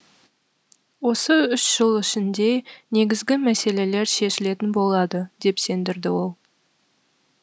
осы үш жыл ішінде негізгі мәселелер шешілетін болады деп сендірді ол